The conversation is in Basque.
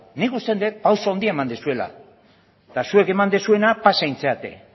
nik uste dut pausu handia eman duzuela eta zuek eman duzuena pasa egin zarete